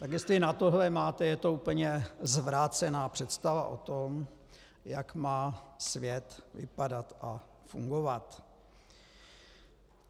Tak jestli na tohle máte, je to úplně zvrácená představa o tom, jak má svět vypadat a fungovat.